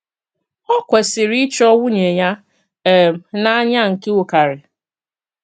Ọ kwesìrì íchọ̀ nwùnỳè ya um n’ànỳà nke ùkàrì.